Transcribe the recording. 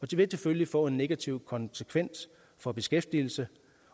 det vil selvfølgelig få en negativ konsekvens for beskæftigelse